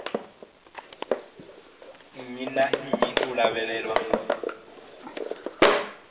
nnyi na nnyi u lavhelelwa